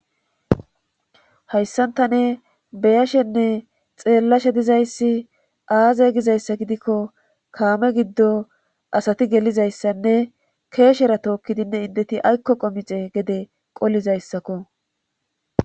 hayissan tani beyashenne xeellashe dizayssi aaze gizayssa gidikko kaame giddo asati gelizayssanne keeshera tookkidinne indeti aykko qomixe gede qollizayssakko